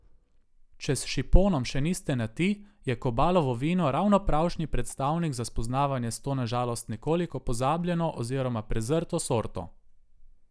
Če s šiponom še niste na ti, je Kobalovo vino ravno pravšnji predstavnik za spoznavanje s to na žalost nekoliko pozabljeno oziroma prezrto sorto.